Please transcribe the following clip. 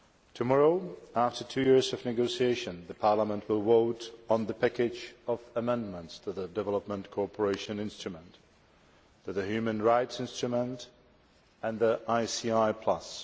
Tomorrow, after two years of negotiation, the Parliament will vote on the package of amendments to the Development Cooperation Instrument, to the human rights instrument, and the ICI Plus.